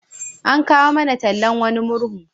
An kawo mana tallan wani murhu.